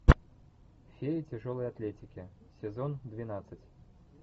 феи тяжелой атлетики сезон двенадцать